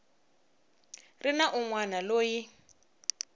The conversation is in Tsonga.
ri na un wana loyi